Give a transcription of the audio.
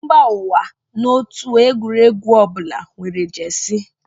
Mba ụwa na otu egwuregwu ọbụla nwere jesi